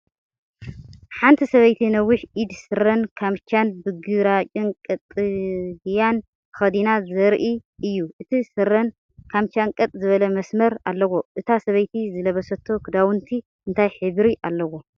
ሓንቲ ሰበይቲ ነዊሕ ኢድ ስረን ካምቻን ብግራጭን ቀጠልያን ተኸዲና ዘርኢ እዩ። እቲ ስረን ካምቻን ቀጥ ዝበለ መስመር ኣለዎ። እታ ሰበይቲ ዝለበሰቶ ክዳውንቲ እንታይ ሕብሪ ኣለዎም?